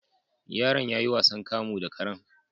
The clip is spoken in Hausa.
Yaron yayi wasan kamu da karen